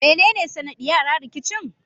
Me nene sanaɗiyara rikicin?